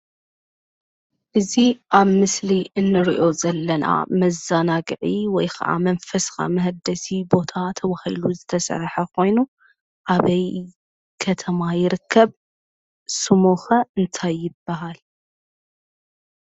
እዚ ኣብ ምስሊ እንሪኦ ዘለና መዘናግዒ ወይ ኸዓ መንፈስኻ መሃደሲ ቦታ ተባሂሉ ዝተሰርሐ ኾይኑ ኣበይ ከተማ ይርከብ? ስሙ ኸ እንታይ ይበሃል?